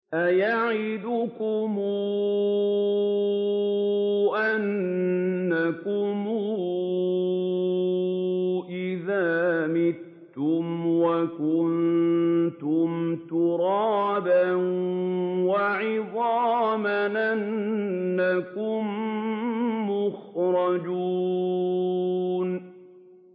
أَيَعِدُكُمْ أَنَّكُمْ إِذَا مِتُّمْ وَكُنتُمْ تُرَابًا وَعِظَامًا أَنَّكُم مُّخْرَجُونَ